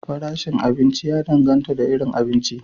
Farashin abinci ya dangata da irin abinci.